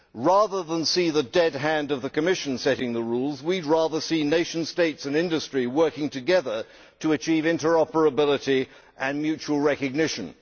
Rather than seeing the dead hand of the Commission setting the rules, we would rather see nations, states and industry working together to achieve interoperability and mutual recognition.